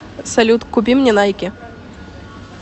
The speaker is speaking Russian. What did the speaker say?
салют купи мне найки